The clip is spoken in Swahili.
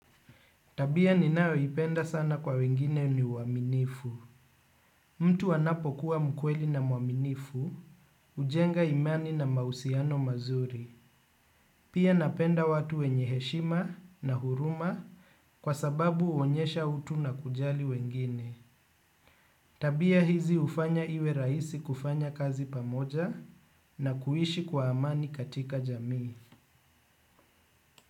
Tabia ninayoipenda sana kwa wengine ni uaminifu. Mtu wanapokuwa mkweli na mwaminifu, hujenga imani na mahusiano mazuri. Pia napenda watu wenye heshima na huruma kwa sababu huonyesha utu na kujali wengine. Tabia hizi hufanya iwe rahisi kufanya kazi pamoja na kuishi kwa amani katika jamii.